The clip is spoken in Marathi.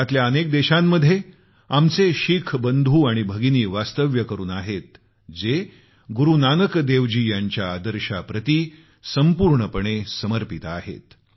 जगातल्या अनेक देशांमध्ये आमचे शीख बंधू आणि भगिनी वास्तव्य करून आहेत जे गुरूनानक देवजी यांच्या आदर्शाप्रती संपूर्णपणे समर्पित आहेत